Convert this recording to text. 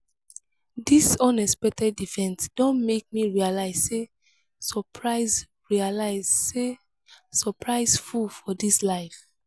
dis unexpected event don make me realize sey surprise realize sey surprise full for dis life.